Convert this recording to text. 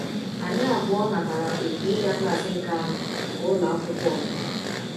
Anyị abụọ natara oku ịga klaas nke anọ nke ụlọ akwụkwọ ọzụzụ.